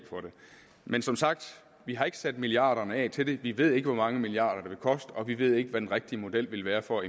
men som sagt vi har ikke sat milliarderne af til det vi ved ikke hvor mange milliarder det vil koste og vi ved ikke hvad den rigtige model vil være for